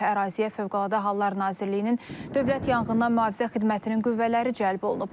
Əraziyə Fövqəladə Hallar Nazirliyinin Dövlət Yanğından Mühafizə Xidmətinin qüvvələri cəlb olunub.